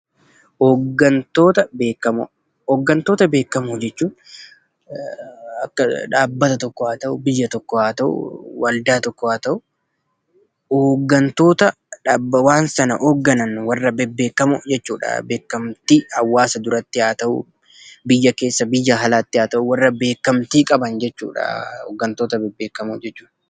Hoggantoota beekamoo jechuun akka dhaabbata tokkoo haa ta'u, biyya tokko haa ta'u, waldaa tokko haa ta'u hoggantoota waan sana hogganan, warra bebbeekamoo jechuudha. Beekamtii hawaasa duratti haa ta'u, biyya keessa, biyya alaatti haa ta'u warra beekamtii qaban jechuudha hoggantoota bebbeekamoo jechuun.